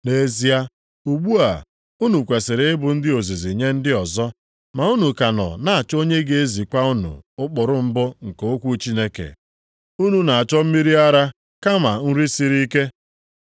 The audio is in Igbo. Nʼezie, ugbu a, unu kwesiri ịbụ ndị ozizi nye ndị ọzọ, ma unu ka nọ na-achọ onye ga-ezikwa unu ụkpụrụ mbụ nke okwu Chineke. Unu na-achọ mmiri ara kama nri siri ike.